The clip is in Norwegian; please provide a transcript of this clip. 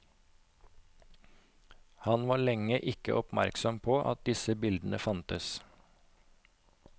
Han var lenge ikke oppmerksom på at disse bildene fantes.